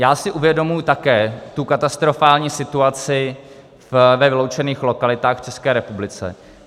Já si uvědomuji také tu katastrofální situaci ve vyloučených lokalitách v České republice.